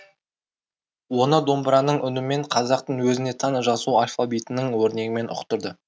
оны домбыраның үнімен қазақтың өзіне тән жазу алфавитінің өрнегімен ұқтырды